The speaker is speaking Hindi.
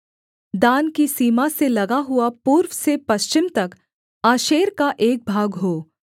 दान की सीमा से लगा हुआ पूर्व से पश्चिम तक आशेर का एक भाग हो